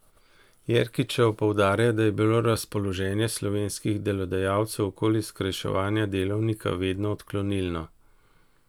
Jerkičeva poudarja, da je bilo razpoloženje slovenskih delodajalcev okoli skrajševanja delovnika vedno odklonilno.